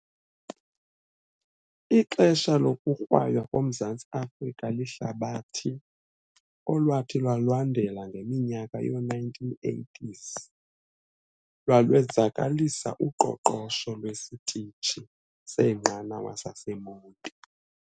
Ixesha lokukwaywa koMzantsi Afrika lihlabathi olwathi lwalandela ngeminyaka yoo-1980s lwalwenzakalisa uqoqosho lwesitishi seenqanawa saseMonti.